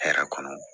Hɛrɛ kɔnɔ